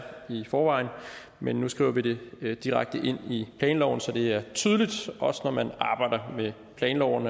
i forvejen men nu skriver vi det direkte ind i planloven så det er tydeligt også når man arbejder med planloven